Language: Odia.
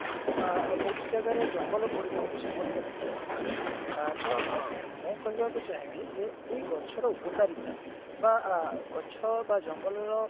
ଅ ବହୁତ ଜାଗାରେ ଜଙ୍ଗଲ ପୋଡିର ଗୋଟେ ସମସ୍ଯା ଦେଖାଯାଉଥିଲା ଅ ତ ଉଁ ମୁଁ କହିବାକୁ ଚାହିଁବି ଯେ ଏଇ ଗଛର ଉପକାରିତା ବା ଗଛ ବା ଜଙ୍ଗଲ ର